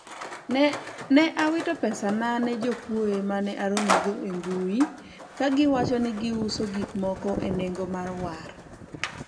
ne awito pesana ne jokuoye mane aromogo e mbui kagiwacho ni giuso gikmoko e nengo mar war